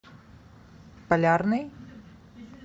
полярный